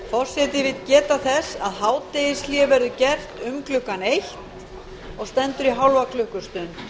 forseti vill geta þess að hádegishlé verður gert um klukkan eitt og stendur í hálfa klukkustund